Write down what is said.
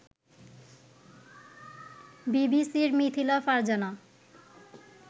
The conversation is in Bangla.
বিবিসির মিথিলা ফারজানা